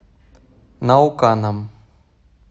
науканом